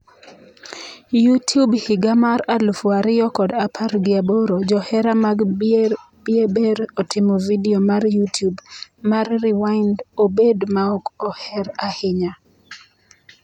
Youtube higa mar aluf ariyo kod apar gi aboro: Johera mag Bieber otimo vidio mar Youtube mar 'rewind' obed maok oher ahinya